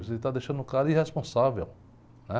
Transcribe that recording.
Você está deixando o cara irresponsável, né?